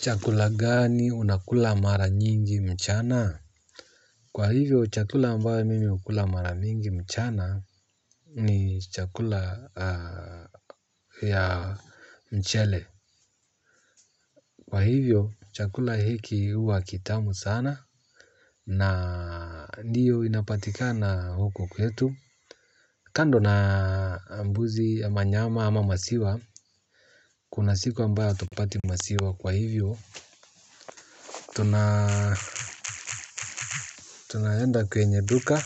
Chakula gani unakula mara nyingi mchana? Kwa hivyo, chakula ambayo mimi hukula mara mingi mchana ni chakula ya mchele. Kwa hivyo, chakula hiki huwa kitamu sana na ndiyo inapatikana huko kwetu. Kando na mbuzi ama nyama ama maziwa, kuna siku ambayo hatupati maziwa kwa hivyo, tunaenda kwenye duka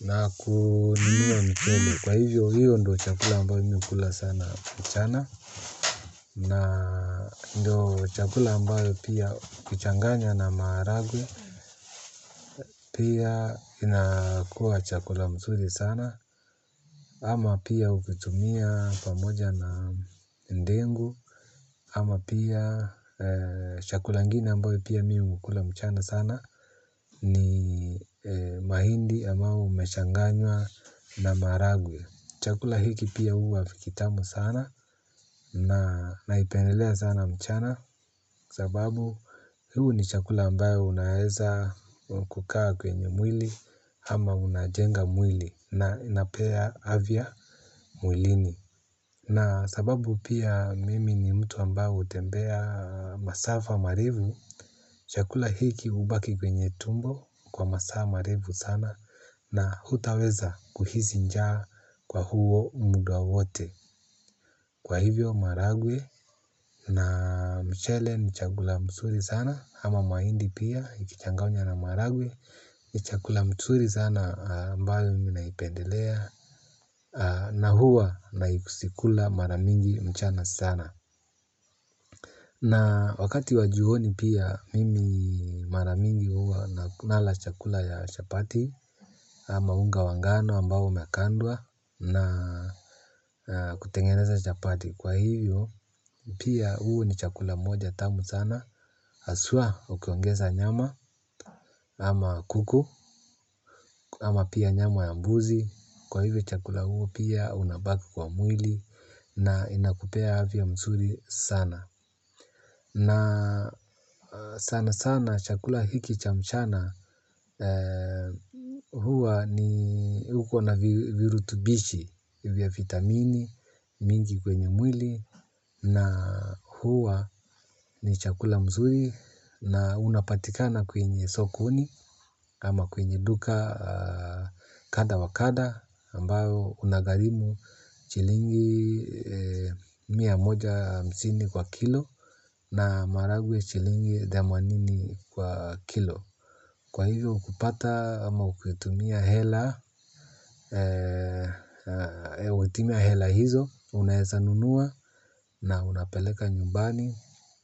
na kununua mchele. Kwa hivyo hiyo ndo chakula ambayo mi hukula sana mchana. Na ndo chakula ambayo pia kuchanganya na maharagwe pia inakua chakula mzuri sana. Ama pia ukitumia pamoja na ndengu ama pia chakula ingini ambayo pia mi hukula mchana sana. Ni mahindi ambayo umechanganywa na maharagwe. Chakula hiki pia huwa kitamu sana na naipendelea sana mchana. Sababu huu ni chakula ambayo unaeza kukaa kwenye mwili. Ama unajenga mwili na inapea afya mwilini. Na sababu pia mimi ni mtu ambaye hutembea masafa marefu. Chakula hiki hubaki kwenye tumbo kwa masaa marefu sana na hutaweza kuhisi njaa kwa huo muda wote. Kwa hivyo maharagwe na mchele ni chakula mzuri sana ama mahindi pia ikichanganywa na maharagwe ni chakula mzuri sana ambayo mimi naipendelea na huwa nahisi kula mara mingi mchana sana. Na wakati wa jioni pia mimi mara mingi huwa nala chakula ya chapati ama unga wa ngano ambao umekandwa na kutengeneza chapati. Kwa hivyo pia huu ni chakula moja tamu sana haswa ukiongeza nyama ama kuku ama pia nyama ya mbuzi. Kwa hivyo chakula huu pia unabaki kwa mwili na inakupea afya mzuri sana. Na sana sana chakula hiki cha mchana huwa ni huko na virutubishi vya vitamini mingi kwenye mwili na huwa ni chakula mzuri na unapatikana kwenye sokoni ama kwenye duka kadha wa kadha ambao unagharimu shilingi mia moja hamusini kwa kilo. Na maharagwe shilingi themanini kwa kilo. Kwa hivyo kupata ama ukitumia hela ukitumia hela hizo unaeza nunua na unapeleka nyumbani.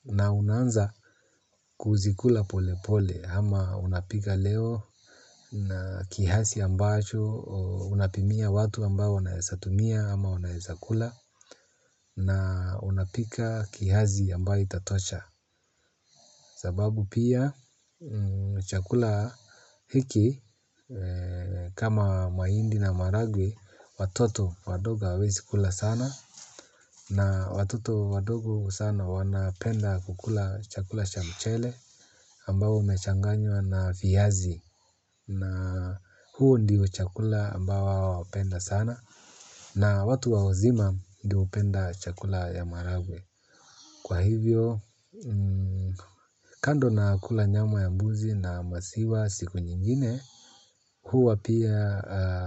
Na unaanza kuzikula pole pole ama unapika leo. Kiasi ambacho unapimia watu ambao wanaeza tumia ama wanaeza kula na unapika kiasi ambayo itatosha. Sababu pia chakula hiki kama mahindi na maharagwe watoto wadogo hawawezi kula sana na watoto wadogo sana wanapenda kukula chakula cha mchele ambao umechanganywa na viazi na huu ndio chakula ambao wao wapenda sana na watu wa wazima ndio hupenda chakula ya maharagwe. Kwa hivyo, kando na kula nyama ya mbuzi na maziwa siku nyingine, huwa pia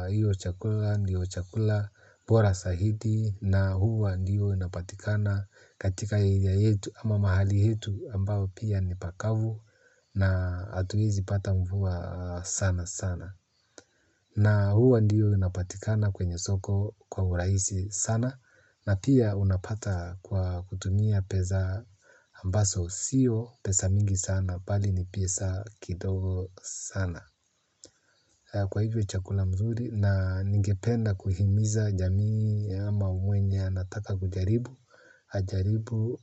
hiyo chakula ndiyo chakula bora zaidi na huwa ndiyo inapatikana katika area yetu ama mahali yetu ambao pia ni pakavu na hatuwezi pata mvua sana sana. Na huwa ndiyo unapatikana kwenye soko kwa urahisi sana na pia unapata kwa kutumia pesa ambazo siyo pesa mingi sana bali ni pesa kidogo sana. Kwa hivyo chakula mzuri na ningependa kuhimiza jamii ama mwenye anataka kujaribu ajaribu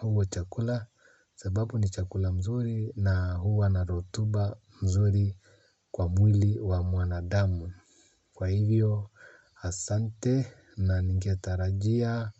huo chakula sababu ni chakula mzuri na huwa na rotuba mzuri kwa mwili wa mwanadamu. Kwa hivyo asante na ningetarajia.